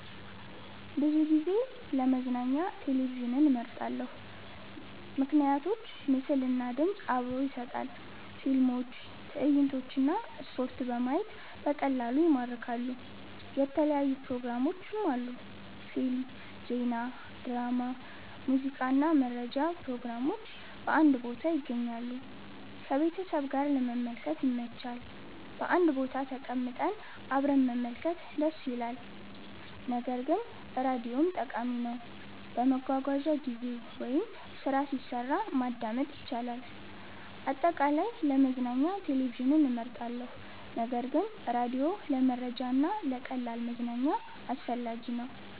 ብዙ ጊዜ ለመዝናኛ ቴሌቪዥንን እመርጣለሁ። ምክንያቶች ምስል እና ድምፅ አብሮ ይሰጣል – ፊልሞች፣ ትዕይንቶች እና ስፖርት በማየት በቀላሉ ይማርካሉ። የተለያዩ ፕሮግራሞች አሉ – ፊልም፣ ዜና፣ ድራማ፣ ሙዚቃ እና መረጃ ፕሮግራሞች በአንድ ቦታ ይገኛሉ። ከቤተሰብ ጋር ለመመልከት ይመች – በአንድ ቦታ ተቀምጠን አብረን መመልከት ደስ ይላል። ነገር ግን ራዲዮም ጠቃሚ ነው፤ በመጓጓዣ ጊዜ ወይም ስራ ሲሰራ ማዳመጥ ይቻላል። አጠቃላይ፣ ለመዝናኛ ቴሌቪዥን እመርጣለሁ ነገር ግን ራዲዮ ለመረጃ እና ለቀላል መዝናኛ አስፈላጊ ነው።